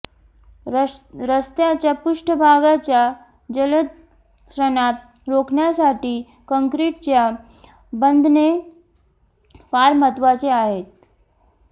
रस्त्याच्या पृष्ठभागाच्या जलद क्षणात रोखण्यासाठी कंक्रीटच्या बंधने फार महत्वाची आहेत